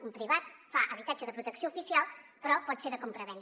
un privat fa habitatge de protecció oficial però pot ser de compravenda